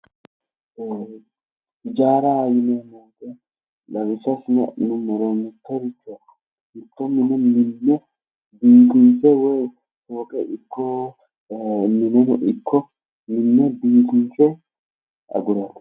Hijaaraho yineemmo woyiite lawishsha assine adhinummoro mittoricho mitto mine biifinse fooqe ikko mine ikko minne biifinse agurate